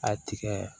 A tigɛ